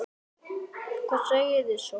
En spennó!